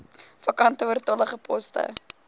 vakante oortollige poste